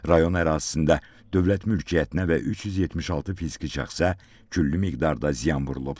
Rayon ərazisində dövlət mülkiyyətinə və 376 fiziki şəxsə külli miqdarda ziyan vurulub.